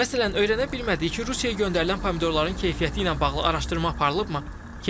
Məsələn, öyrənə bilmədik ki, Rusiyaya göndərilən pomidorların keyfiyyəti ilə bağlı araşdırma aparılıbmı?